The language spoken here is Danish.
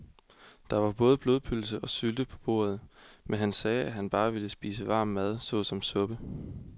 Der var både blodpølse og sylte på bordet, men han sagde, at han bare ville spise varm mad såsom suppe.